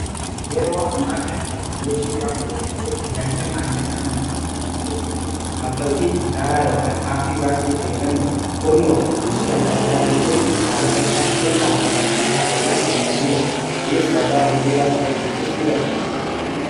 yeroo ammaa kana teeknoloojiiwwaan babalateef tajaajila maallaqa amana kiristaanaa keessatti kaffaltii dijitaalaa ykaan aappii baankii fayyadamuun kurnoo fi buusii adda addaa galchuun haala siyataa fi abansiisaa ta'een danda'ameera kunis ragaa herreegaa qabachuufis ini gargala